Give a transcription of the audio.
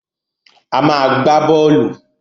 A má a gbá bọ́ọ́lù.